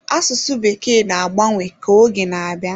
Asụsụ Bekee na-agbanwe ka oge na-aga.